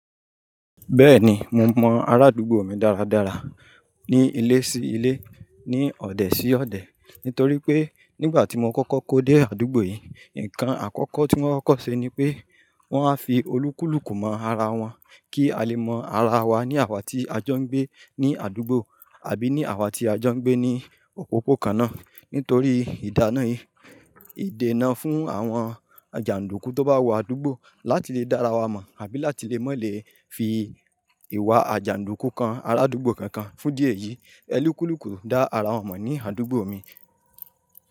Bẹ́ẹ̀ni, mo mọ arádúgbò mi dáradára ní ilé sí ilé, ní ọ̀dẹ̀ sí ọ̀dẹ̀ nítorí pé nígbà tí mo kọ́kọ́ kó dé àdúgbò yìí, nǹkan àkọ́kọ́ tí wọ́n kọ́kọ́ ṣe ni pé wọ́n a fi olúkúlùkù mọ ara wọn kí a lè mọ ara wa ní àwá tí a jọ ń gbé ní àdúgbò àbí ní àwá tí a jọ ń gbé ní òpópó kan náà. Nítorí ìdáná yìí, ìdènà fún àwọn àjàǹdúkú tó bá wọ àdúgbò láti lè dá ara wa mọ̀ àbí láti lè mọ̀ lè fi ìwà àjàǹdúkú kan arádúgbò kankan fún diẹ̀ yìí, ẹlíkúlùkù dá ara wọn mọ̀ ní àdúgbò mi.